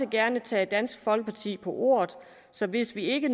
gerne tage dansk folkeparti på ordet så hvis ikke